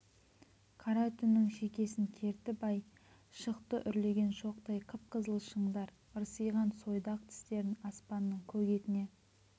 қара түннің шекесін кертіп ай шықты үрлеген шоқтай қып-қызыл шыңдар ырсиған сойдақ тістерін аспанның көк етіне